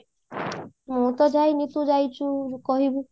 ମୁଁ ତ ଯାଇନି ତୁ ଯାଇଛୁ କହିବୁ